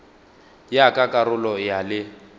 ya ka karolo ya le